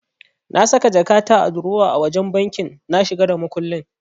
Na saka jakata a durowa a wajen banki na shiga da makullin.